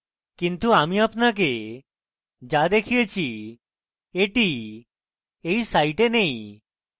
কিন্তু আমি আপনাকে যা দেখিয়েছি এটি এই site নেই